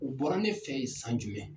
U bɔra ne fɛ yen san jumɛn?